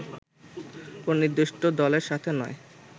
“কোন নির্দিষ্ট দলের সাথে নয়